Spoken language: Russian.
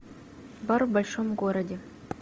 бар в большом городе